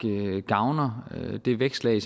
gavner det vækstlag af